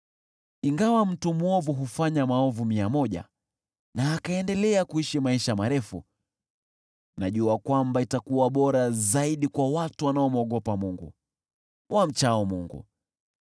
Ingawa mtu mwovu hufanya maovu mia moja na akaendelea kuishi maisha marefu, najua kwamba itakuwa bora zaidi kwa watu wanaomwogopa Mungu, wamchao Mungu.